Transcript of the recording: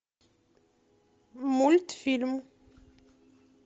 мультфильм